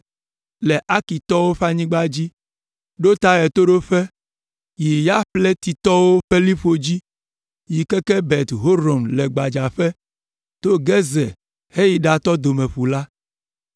le Arkitɔwo ƒe anyigba dzi, ɖo ta ɣetoɖoƒe, yi Yafletitɔwo ƒe liƒo dzi, yi keke Bet Horon le gbadzaƒe, to Gezer heyi ɖatɔ Domeƒu la.